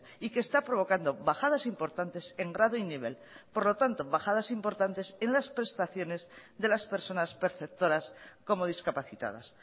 y que está provocando bajadas importantes en grado y nivel por lo tanto bajadas importantes en las prestaciones de las personas perceptoras como discapacitadas